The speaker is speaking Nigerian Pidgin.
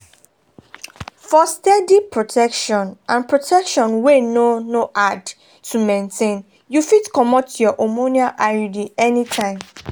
for steady protection and protection wey no no hard to maintain you fit comot your hormonal iuds anytime.